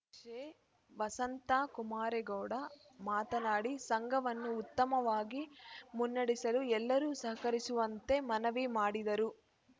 ಕ್ಷೆ ವಸಂತಾ ಕುಮಾರೇಗೌಡ ಮಾತನಾಡಿ ಸಂಘವನ್ನು ಉತ್ತಮವಾಗಿ ಮುನ್ನಡೆಸಲು ಎಲ್ಲರೂ ಸಹಕರಿಸುವಂತೆ ಮನವಿ ಮಾಡಿದರು